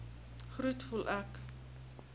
groet voel ek